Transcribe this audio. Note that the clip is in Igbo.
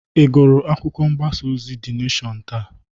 Ị gụrụ akwụkwọ mgbasa ozi De Neshọn taa?